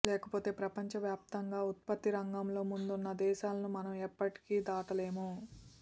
లేకపోతే ప్రపంచ వ్యాప్తంగా ఉత్పత్తి రంగంలో ముందున్న దేశాలను మనం ఎప్పటికీ దాటలేము